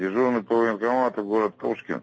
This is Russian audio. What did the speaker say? дежурный по военкомату город пушкин